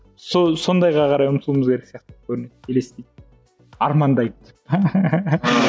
сол сондайға қарай ұмтылуымыз керек сияқты көрінеді елестейді армандайды